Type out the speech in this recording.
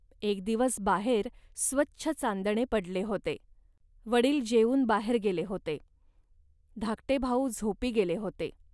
एक दिवस बाहेर स्वच्छ चांदणे पडले होते. वडील जेवून बाहेर गेले होते, धाकटे भाऊ झोपी गेले होते